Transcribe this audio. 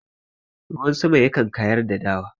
Ruwan sama yakan kayar da dawa..